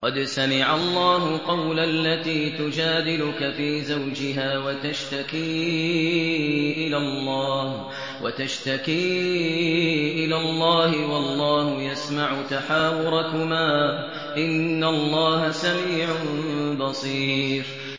قَدْ سَمِعَ اللَّهُ قَوْلَ الَّتِي تُجَادِلُكَ فِي زَوْجِهَا وَتَشْتَكِي إِلَى اللَّهِ وَاللَّهُ يَسْمَعُ تَحَاوُرَكُمَا ۚ إِنَّ اللَّهَ سَمِيعٌ بَصِيرٌ